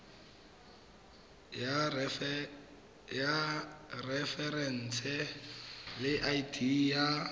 ya referense le id ya